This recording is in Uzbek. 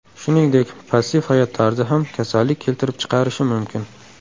Shuningdek, passiv hayot tarzi ham kasallik keltirib chiqarishi mumkin.